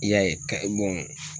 I y'a ye ka